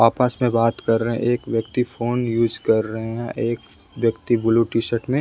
आपस में बात कर रहे हैं एक व्यक्ति फोन यूज़ कर रहे हैं एक व्यक्ति ब्लू टी-शर्ट में--